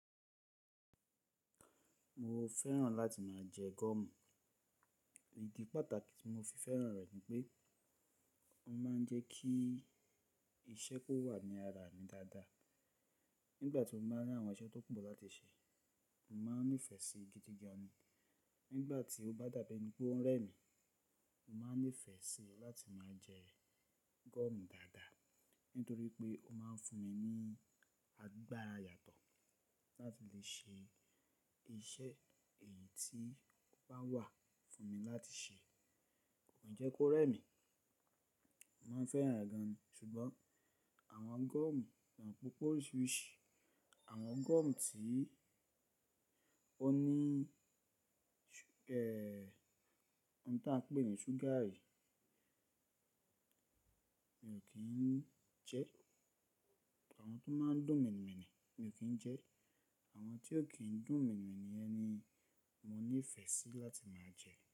Mo fẹ́ràn láti máa jẹ gọ́ọ̀mù. Ìdí pàtàkì tí mo fi fẹ́ràn rẹ̀ ni pé ó máa ń jẹ́ kí iṣẹ́ kó wà ní ara mi dáadáa. Nígbà tí mo máa ń rí àwọn iṣẹ́ tó pọ̀ láti ṣe, mo máa ń nífẹ̀ẹ́ sí i gidi gan. Nígbà tí ó bá dàbí ẹni pé ó ń rẹ́ mí, mo máa ń nífẹ̀ẹ́ síi láti máa jẹ gọ́ọ̀mù dáadáa nítorí pé ó máa ń fún mi ní agbára yàtọ̀ láti lè ṣe iṣẹ́ èyí tí ó bá wà fún mi láti ṣe. Kò njẹ́ kó rẹ̀ mi. Mo máa ń fẹ́ràn rẹ̀ gan, ṣùgbọ́n àwọn gọ́ọ̀mù ṣe ẹ mọ pé ó pé oríṣiríṣi. Àwọn gọ́ọ̀mù tí ó ní, ohun tí a ń pè ní ṣúgà yìí mi ò kí ń jẹ ẹ́. Àwọn tó máa ń dùn mènìmènì mi ò kí ń jẹ ẹ́. Àwọn tí ò kí ń dùn mènìmènì yẹn ni mo nífẹ̀ẹ́ sí láti máa jẹ ẹ́.